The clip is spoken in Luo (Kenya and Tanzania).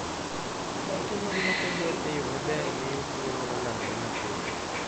Ute ma ne ok oger e yo maber miyo tuwo nyalo landore mapiyo.